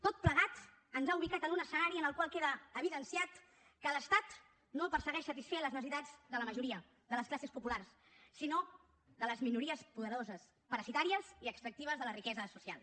tot plegat ens ha ubicat en un escenari en el qual queda evidenciat que l’estat no persegueix satisfer les necessitats de la majoria de les classes populars sinó de les minories poderoses parasitàries i extractives de la riquesa social